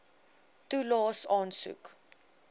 toelaes aansoek